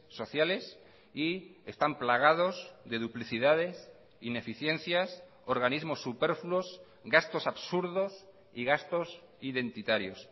sociales y están plagados de duplicidades ineficiencias organismos superfluos gastos absurdos y gastos identitarios